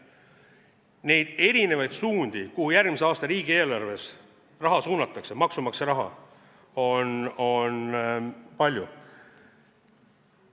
Neid erinevaid suundi, kuhu järgmise aasta riigieelarves maksumaksja raha suunatakse, on palju.